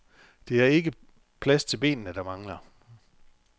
Det er ikke plads til benene, der mangler.